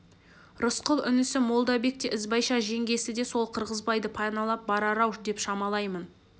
рысқұл інісі молдабек те ізбайша жеңгесі де сол қырғызбайды паналап барар-ау деп шамалаймын